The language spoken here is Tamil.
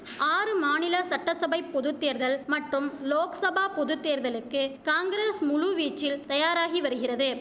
ஆறு மாநில சட்டச்சபைப் பொதுத்தேர்தல் மற்றும் லோக்சபா பொதுத்தேர்தலுக்கு காங்கிரஸ் முழுவீச்சில் தயாராகி வரிகிறது